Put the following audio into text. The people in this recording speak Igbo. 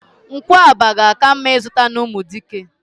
Nkwụaba ga-aka mma izuta n'Umudike.